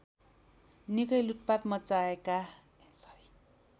निकै लुटपाट मच्चाएका